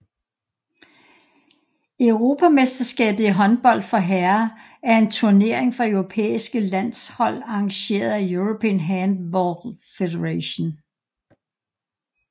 Europamesterskabet i håndbold for herrer er en turnering for europæiske landshold arrangeret af European Handball Federation